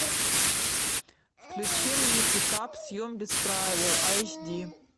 включи мне пикап съем без правил айч ди